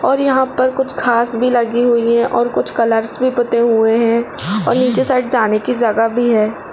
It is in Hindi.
और यहाँ पर कुछ घास भी लगी हुई है और कुछ कलर्स भी पुते हुए हैं और नीचे साइड जाने की जगह भी है।